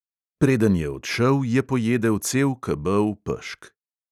Preden je odšel, je pojedel cel kebel pešk.